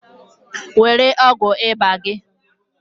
Were ọgwụ iba gị!